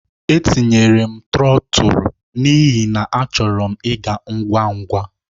Etinyere m trọtul n'ihi na achọrọ m ịga ngwa ngwa.